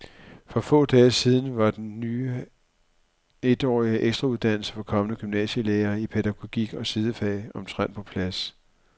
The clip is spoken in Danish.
For få dage siden var den ny etårige ekstrauddannelse for kommende gymnasielærere i pædagogik og sidefag omtrent på plads.